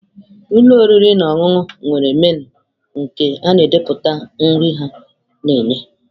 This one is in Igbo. Ụlọ oriri na ọṅụṅụ nwere menụ nke na-edepụta nri ha na-enye.